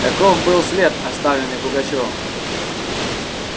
таков был след оставленный пугачёвым